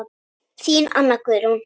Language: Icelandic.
Þín Anna Guðrún.